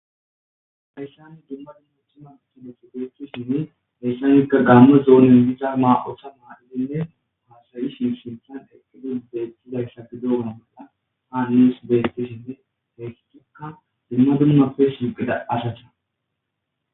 hayssani dumma dummuthuma ikide sigeetisinne hayssanikka gaamme zoonyon diza maa7otha maa7ilinne haasayi sinsinthan eqqidun beettidayssa gi douna molla haa nis beettisinne teessitikka dumma dummappe sinqida ashacsha